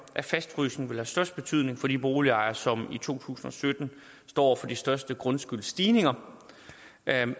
at fastfrysningen vil have størst betydning for de boligejere som i to tusind og sytten står over for de største grundskyldsstigninger